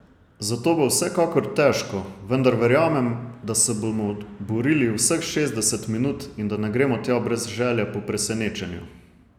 Zato bo vsekakor težko, vendar verjamem, da se bomo borili vseh šestdeset minut in da ne gremo tja brez želje po presenečenju.